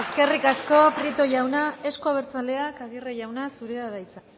eskerrik asko prieto jauna euzko abertzaleak aguirre jauna zurea da hitza